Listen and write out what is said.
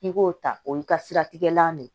N'i k'o ta o y'i ka siratigɛlan de ye